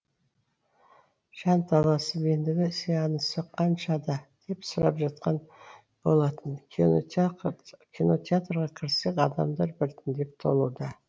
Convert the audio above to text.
жанталасып ендігі сеансы қаншада деп сұрап жатқан болатын кинотеатрға кірсек адамдар бірітіндеп толуда